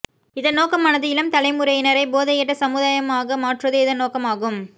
இதன் நோக்கமானது இளம் தலைமுறையினறை போதையட்ட சமுதாயமாக மற்றுவதே இதன் நோக்கமாகும்